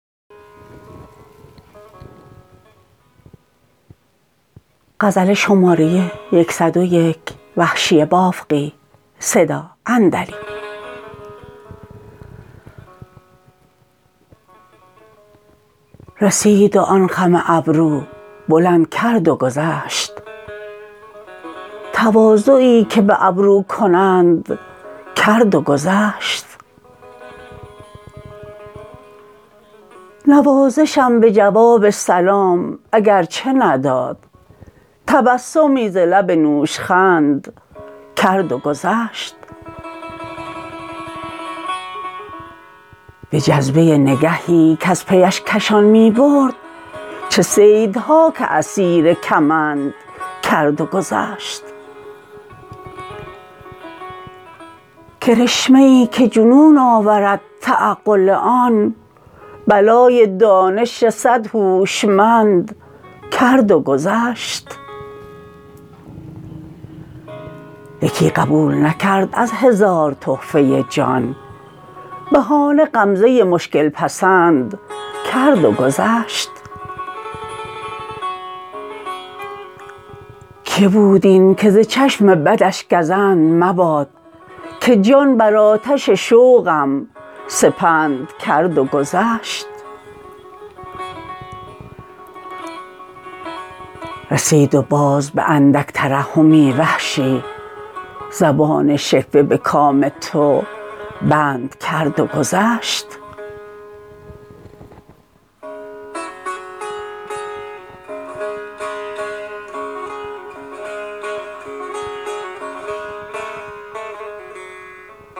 رسید و آن خم ابرو بلند کرد و گذشت تواضعی که به ابرو کنند کرد و گذشت نوازشم به جواب سلام اگر چه نداد تبسمی ز لب نوشخند کرد و گذشت به جذبه نگهی کز پیش کشان می برد چه صیدها که اسیر کمند کرد و گذشت کرشمه ای که جنون آورد تعقل آن بلای دانش صد هوشمند کرد و گذشت یکی قبول نکرد از هزار تحفه جان بهانه غمزه مشکل پسند کرد و گذشت که بود این که ز چشم بدش گزند مباد که جان بر آتش شوقم سپند کرد و گذشت رسید و باز به اندک ترحمی وحشی زبان شکوه به کام تو بند کرد و گذشت